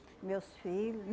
meus filho